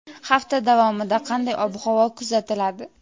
Hafta davomida qanday ob-havo kuzatiladi?.